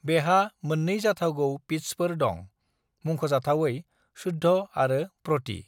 "बेहा मोननै जाथावगौ पिट्सफोर दं, मुंख'जाथावै शुद्ध आरो प्रति।"